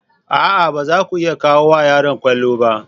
A'a! ba za ku iya koya wa yaro kwallo ba.